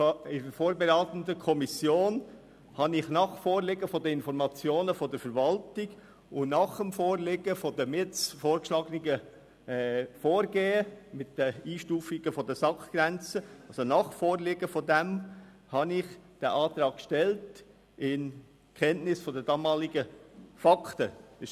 In der vorberatenden Kommission hatte ich nach dem Vorliegen der Informationen der Verwaltung und nach dem Vorliegen des jetzt vorgeschlagenen Vorgehens mit den Einstufungen der SAK-Grenzen den Antrag in Kenntnis der damaligen Fakten gestellt.